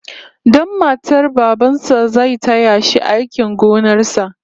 Dan matar baban sa zai taya shi aikin gonar sa